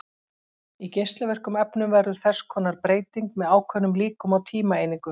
Í geislavirkum efnum verður þess konar breyting með ákveðnum líkum á tímaeiningu.